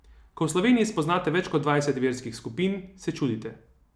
Ko v Sloveniji spoznate več kot dvajset verskih skupin, se čudite.